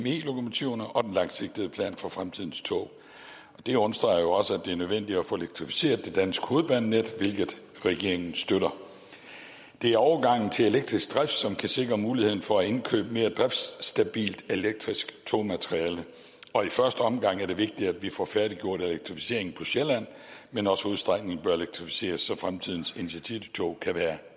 lokomotiverne og den langsigtede plan for fremtidens tog det understreger også at det er nødvendigt at få elektrificeret det danske hovedbanenet hvilket regeringen støtter det er overgangen til elektrisk drift som kan sikre muligheden for at indkøbe mere driftstabilt elektrisk togmateriel i første omgang er det vigtigt at vi får færdiggjort elektrificeringen på sjælland men også hovedstrækningen bør elektrificeres så fremtidens intercitytog kan være